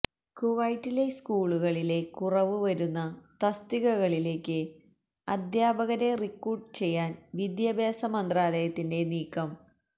കുവൈറ്റിലെ സ്കൂളുകളിലെ കുറവ് വരുന്ന തസ്തികകളിലേക്ക് അധ്യാപകരെ റിക്രൂട്ട് ചെയ്യാൻ വിദ്യാഭ്യാസ മന്ത്രാലയത്തിൻ്റെ നീക്കം